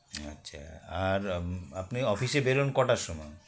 আচ্ছা আর আম আপনি office -এ বেরোন কটার সময়